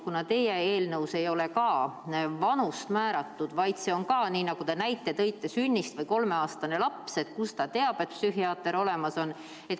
Kuna ka teie eelnõus ei ole vanust määratud, vaid on nii, nagu te näite tõite, sünnist alates, siis kuidas näiteks kolmeaastane laps teab, et psühhiaater on olemas?